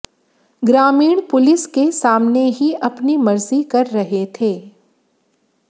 ग्रामीण पुलिस के सामने ही अपनी मर्जी कर रहे थे